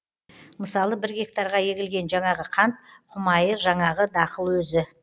мысалы бір гектарға егілген жаңағы қант құмайы жаңағы дақыл өзі